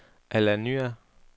Alanya